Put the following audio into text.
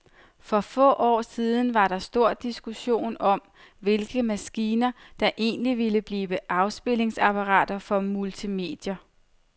For få år siden var der stor diskussion om, hvilke maskiner, der egentlig ville blive afspilningsapparater for multimedia.